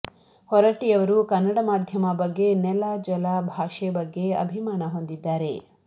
ಹೊರಟ್ಟಿಯವರು ಕನ್ನಡ ಮಾಧ್ಯಮ ಬಗ್ಗೆ ನೆಲ ಜಲ ಭಾಷೆ ಬಗ್ಗೆ ಅಭಿಮಾನ ಹೊಂದಿದ್ದಾರೆ